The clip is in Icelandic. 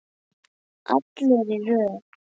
Allir í röð!